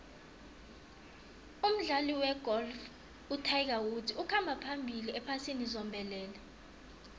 umdlali wegolf utiger woods ukhamba phambili ephasini zombelele